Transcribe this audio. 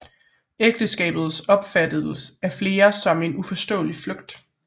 Ægteskabet opfattedes af flere som en uforståelig flugt